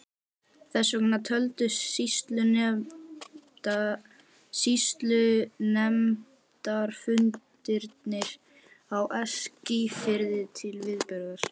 Þess vegna töldust sýslunefndarfundirnir á Eskifirði til viðburða.